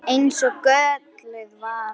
Eins og gölluð vara.